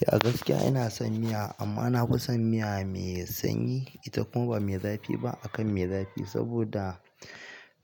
Eh a gaskiya ina son miya amma na fi son miya mai sanyi ita kuma ba mai zafi ba akan mai zafi ba saboda